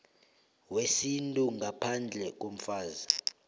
wesintu ngaphandle komfazi